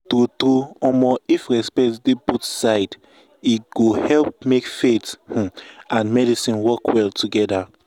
true true um if respect dey both side e go help make faith um and medicine work well um together.